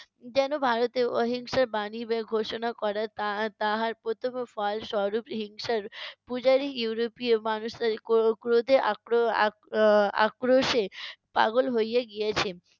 যেন ভারতে অহিংসার বাণী এর ঘোষনা করা তা~ তাহার প্রথম ফলস্বরুপ হিংসার পূজারী ইউরোপীয় মানুষের ক্রো~ ক্রোধে আক্রো~ আক্রো~ আহ আক্রোশে পাগল হইয়ে গিয়েছে।